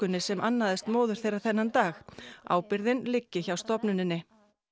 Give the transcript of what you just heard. sem annaðist móður þeirra þennan dag ábyrgðin liggi hjá stofnuninni